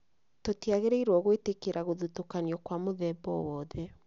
Tũtiagĩrĩirwo gwĩtĩkĩria gũthũtũkanio kwa mũthemba o wothe